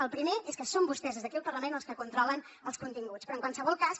el primer és que són vostès des d’aquí el parlament els que controlen els continguts però en qualsevol cas